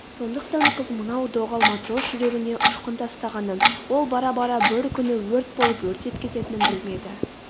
сондықтан қыз мынау доғал матрос жүрегіне ұшқын тастағанын ол бара-бара бір күні өрт болып өртеп кететінін білмеді